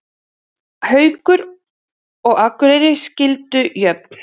Haukar og Akureyri skildu jöfn